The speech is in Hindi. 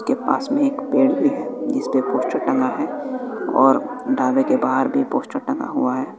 इसके पास में एक पेड़ भी है जिसपे टंगा है और ढाबे के बाहर भी पोस्टर टंगा हुआ है।